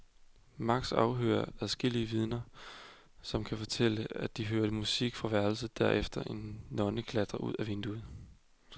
Max afhører adskillige vidner, som kan fortælle, at de hørte musik fra værelset og derefter så en nonne klatre ud ad vinduet.